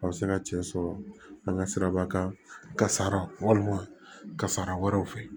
Aw bɛ se ka cɛ sɔrɔ an ka siraba kan kasara walima kasara wɛrɛw fɛ